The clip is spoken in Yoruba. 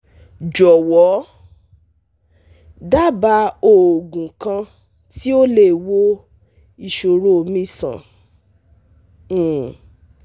Jọwọ daba oogun kan ti o le wo iṣoro mi sàn um